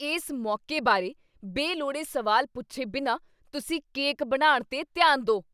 ਇਸ ਮੌਕੇ ਬਾਰੇ ਬੇਲੋੜੇ ਸਵਾਲ ਪੁੱਛੇ ਬਿਨਾਂ ਤੁਸੀਂ ਕੇਕ ਬਣਾਉਣ 'ਤੇ ਧਿਆਨ ਦੇ।